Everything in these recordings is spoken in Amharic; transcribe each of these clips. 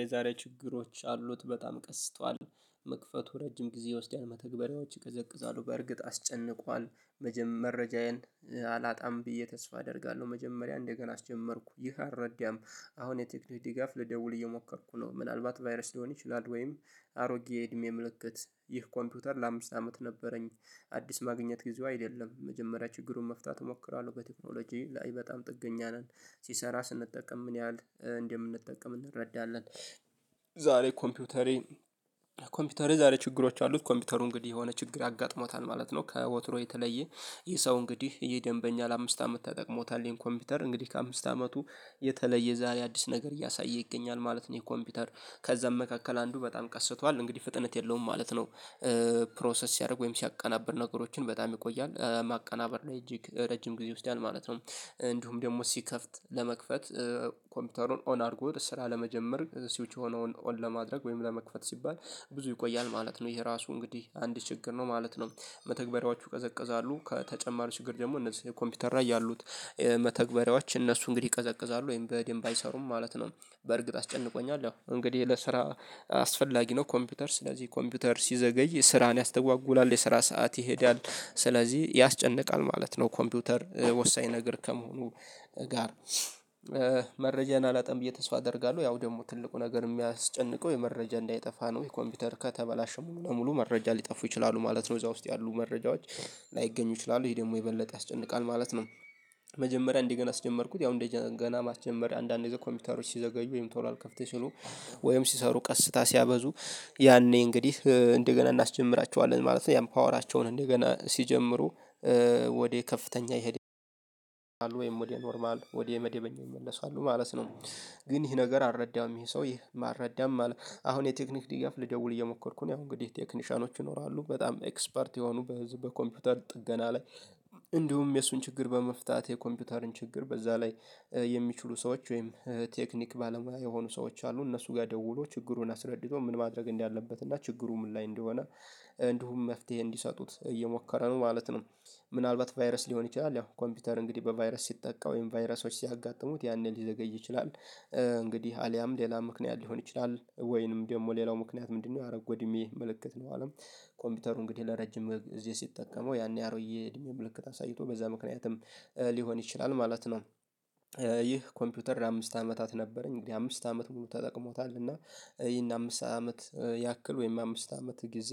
የዛሬ ችግሮች አሉት በጣም ቀስቷል። መክፈቱ ረጅም ጊዜ ይወስዳል መተግበሪያዎች ይቀዘቅዛሉ በእርግጥ አስጨንቋል። መጀም መረጃዬን አላጣም ብዬ ተስፋ አደርጋለሁ መጀመሪያ እንደገና አስጀመርኩ ይህ አልረዳም። አሁን የቴክኒክ ድጋፍ ልደውል እየሞከርኩ ነው ምናልባት ቫይረስ ሊሆን ይችላል ወይም አሮጌ የእድሜ ምልክት ይህ ኮምፒውተር ለአምስት አመት ነበረኝ። አዲስ ማግኘት ጊዜው አይደለም የመጀመሪያ ችግሩን መፍታት እሞክራለሁ በቴክኖሎጂ ላይ በጣም ጥገኛ ነን ሲሰራ ስንጠቀም ምን ያህል እንደምንጠቀም እንረዳለን። ዛሬ ኮምፒውተሬን ኮምፒውተሬ ዛሬ ችግሮች አሉት ኮምፒውተሩ እንግዲህ የሆነ ችግር አጋጥሞታል ማለት ነው ከወትሮ የተለየ። ይህ ሰው እንግዲህ ይሄ ደንበኛ ለአምስት አመት ተጠቅሞታል ይሄን ኮምፒውተር እንግዲህ ከአምስት አመቱ የተለየ ዛሬ አዲስ ነገር እያሳየ ይገኛል ማለት ነው። ይሄ ኮምፒውተር ከዛም መካከል አንዱ በጣም ቀስቷል እንግዲህ ፍጥነት የለውም ማለት ነው። ፕሮሰስ ሲያደርግ ወይም ሲያቀናብር ነገሮችን በጣም ይቆያል ማቀናበር ላይ እጅግ ረጅም ጊዜ ይወስዳል ማለት ነው። እንዲሁም ደግሞ ሲከፍት ለመክፈት ኮምፒውተሩን ኦን አድርጎ ስራ ለመጀመር ሲውች የሆነውን ኦን ለማድረግ ወይም ለመክፈት ሲባል ብዙ ይቆያል ማለት ነው። ይሄ ራሱ እንግዲህ አንድ ችግር ነው ማለት ነው። መተግበሪያዎቹ ይቀዘቅዛሉ ከተጨማሪ ችግር ደግሞ እነዚህ ኮምፒውተር ላይ ያሉት መተግበሪያዎች እነሱ እንግዲህ ይቀዘቅዛሉ ወይም በደንብ አይሰሩም ማለት ነው። በእርግጥ አስጨንቆኛል እንግዲህ ለስራ አስፈላጊ ነው ኮምፒውተር ስለዚህ ኮምፒውተር ሲዘገይ ስራን ያስተጓጉላል የስራ ሰዓት ይሄዳል። ስለዚህ ያስጨንቃል ማለት ነው ኮምፒውተር ወሳኝ ነገር ከመሆኑ ጋር። መረጃን አላጠም ብዬ ተስፋ አደርጋለሁ ያው ደግሞ ትልቁ ነገር የሚያስጨንቀው ይህ መረጃ እንዳይጠፋ ነው ይህ ኮምፒውተር ከተበላሸ ሙሉ ለሙሉ መረጃ ሊጠፉ ይችላሉ ማለት ነው። እዛ ውስጥ ያሉ መረጃዎች ላይገኙ ይችላሉ ይሄ ደግሞ የበለጠ ያስጨንቃል ማለት ነው። መጀመሪያ እንደገና አስጀመርኩት ያው እንደገና ማስጀመር አንዳንድ ጊዜ ኮምፒውተሮች ሲዘገዩ ወይም ቶሎ አልከፍት ሲሉ ወይም ሲሰሩ ቀስታ ሲያበዙ ያኔ እንግዲህ እንደገና እናስጀምራቸዋለን ማለት ነው። ያም ፓወራቸውን እንደገና ሲጀምሩ ወደ ከፍተኛ ይሄድ ወይም ወደ ኖርማል ወደ መደበኛ ይመለሳሉ ማለት ነው። ግን ይሄ ነገር አረዳም ይሄ ሰው ይሄ ማረዳም አለ። አሁን የቴክኒክ ድጋፍ ልደውል እየሞከርኩ ነው እንግዲህ ቴክኒሻኖች ይኖራሉ በጣም ኤክስፐርት የሆኑ በዚህ በኮምፒውተር ጥገና ላይ እንዲሁም የእሱን ችግር በመፍታት የኮምፒውተርን ችግር በዛ ላይ የሚችሉ ሰዎች ወይም ቴክኒክ ባለሙያ የሆኑ ሰዎች አሉ እነሱ ጋር ደውሎ ችግሩን አስረድቶ ምን ማድረግ እንዳለበት እና ችግሩ ምን ላይ እንደሆነ እንዲሁም መፍትሄ እንዲሰጡት እየሞከረ ነው ማለት ነው። ምናልባት ቫይረስ ሊሆን ይችላል ያው ኮምፒውተር እንግዲህ በቫይረስ ሲጠቃ ወይም ቫይረሶች ሲያጋጥሙት ያኔ ሊዘገይ ይችላል። እንግዲህ አልያም ሌላ ምክንያት ሊሆን ይችላል ወይንም ደግሞ ሌላው ምክንያት ምንድነው? ያደረገው እድሜ ምልክት ሊሆንም ኮምፒውተሩ እንግዲህ ለረጅም ጊዜ ሲጠቀመው ያኔ አሮጌ እድሜ ምልክት አሳይቶ በዛ ምክንያትም ሊሆን ይችላል ማለት ነው። ይህ ኮምፒውተር ለአምስት አመታት ነበረኝ እንግዲህ አምስት አመት ሙሉ ተጠቅሞታል እና ይህን አምስት አመት ያክል ወይም አምስት አመት ጊዜ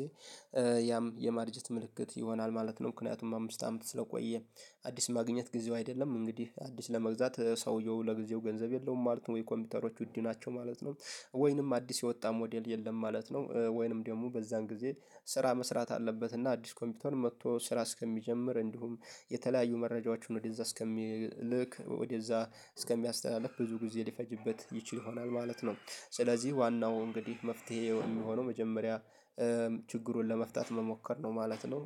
ያም የማርጀት ምልክት ይሆናል ማለት ነው ምክንያቱም አምስት አመት ስለቆየ አዲስ ማግኘት ጊዜው አይደለም እንግዲህ አዲስ ለመግዛት ሰውየው ለጊዜው ገንዘብ የለውም ማለት ነው ወይ ኮምፒውተሮች ውድ ናቸው ማለት ነው። ወይንም አዲስ የወጣ ሞዴል የለም ማለት ነው ወይንም ደግሞ በዛን ጊዜ ስራ መስራት አለበት እና አዲስ ኮምፒውተር መጥቶ ስራ እስከሚጀምር እንዲሁም የተለያዩ መረጃዎችን ወደዛ እስከሚልክ ወደዛ እስከሚያስተላልፍ ብዙ ጊዜ ሊፈጅበት ይችል ይሆናል ማለት ነው። ስለዚህ ዋናው እንግዲህ መፍትሄ የሚሆነው መጀመሪያ ችግሩን ለመፍታት መሞከር ነው ማለት ነው።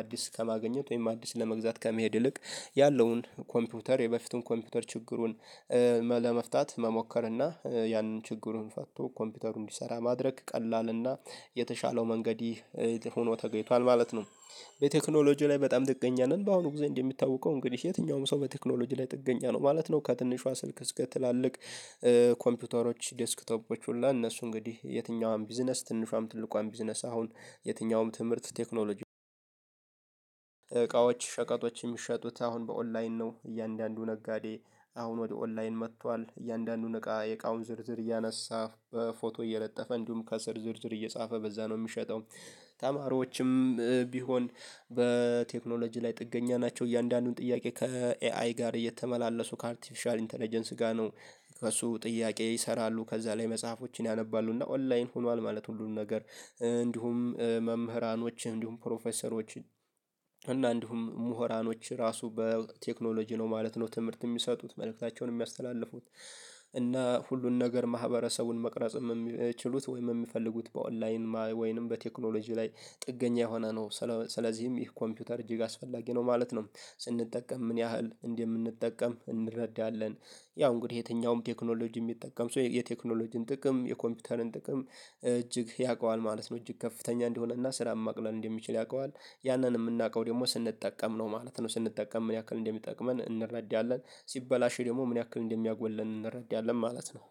አዲስ ከማግኘት ወይም አዲስ ለመግዛት ከመሄድ ይልቅ ያለውን ኮምፒውተር የበፊቱን ኮምፒውተር ችግሩን ለመፍታት መሞከር እና ያንን ችግሩን ፈቶ ኮምፒውተሩ እንዲሰራ ማድረግ ቀላል እና የተሻለው መንገድ ሆኖ ተገኝቷል ማለት ነው። በቴክኖሎጂ ላይ በጣም ጥገኛ ነን በአሁኑ ጊዜ እንደሚታወቀው እንግዲህ የትኛውም ሰው በቴክኖሎጂ ላይ ጥገኛ ነው ማለት ነው። ከትንሿ ስልክ እስከ ትላልቅ ኮምፒውተሮች ዴስክቶፖች ሁሉ እነሱ እንግዲህ የትኛዋም ቢዝነስ ትንሿም ትልቋም ቢዝነስ አሁን የትኛውም ትምህርት እቃዎች ሸቀጦች የሚሸጡት አሁን በኦንላይን ነው እያንዳንዱ ነጋዴ አሁን ወደ ኦንላይን መጥቷል እያንዳንዱን እቃ የእቃውን ዝርዝር እያነሳ በፎቶ እየለጠፈ እንዲሁም ከስር ዝርዝር እየጻፈ በዛ ነው የሚሸጠው። ተማሪዎችም ቢሆን በቴክኖሎጂ ላይ ጥገኛ ናቸው። እያንዳንዱን ጥያቄ ከኤአይ ጋር እየተመላለሱ ከአርቲፊሻል ኢንተለጀንስ ጋር ነው ከእሱ ጥያቄ ይሰራሉ ከዛ ላይ መጽሐፎችን ያነባሉና ኦንላይን ሆኗል ማለት ሁሉም ነገር እንዲሁም መምህራኖች እንዲሁም ፕሮፌሰሮች እና እንዲሁም ምሁራኖች ራሱ በቴክኖሎጂ ነው ማለት ነው። ትምህርት የሚሰጡት መልእክታቸውን የሚያስተላልፉት እና ሁሉን ነገር ማህበረሰቡን መቅረጽ የሚችሉት ወይም የሚፈልጉት በኦንላይን ወይንም በቴክኖሎጂ ላይ ጥገኛ የሆነ ነው ስለዚህም ይህ ኮምፒውተር እጅግ አስፈላጊ ነው ማለት ነው። ስንጠቀም ምን ያህል እንደምንጠቀም እንረዳለን ያው እንግዲህ የትኛውም ቴክኖሎጂ የሚጠቀም ሰው የቴክኖሎጂን ጥቅም የኮምፒውተርን ጥቅም እጅግ ያውቀዋል ማለት ነው። እጅግ ከፍተኛ እንደሆነና ስራ ማቅለል እንደሚችል ያውቀዋል ያንን የምናውቀው ደግሞ ስንጠቀም ነው ማለት ነው። ስንጠቀም ምን ያክል እንደሚጠቅመን እንረዳለን ሲበላሽ ደግሞ ምን ያክል እንደሚያጎለን እንረዳለን ማለት ነው